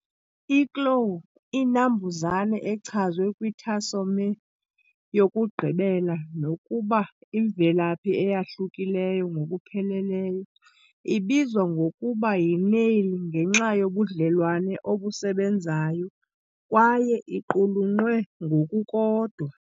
I-claw inambuzane echazwe kwi-tarsomere yokugqibela, nokuba imvelaphi eyahlukileyo ngokupheleleyo, ibizwa ngokuba yi-nail ngenxa yobudlelwane obusebenzayo, kwaye iqulunqwe ngokukodwa.